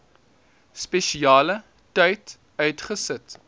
spesiale tyd uitgesit